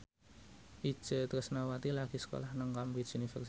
Itje Tresnawati lagi sekolah nang Cambridge University